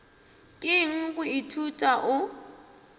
ke eng go ithuta o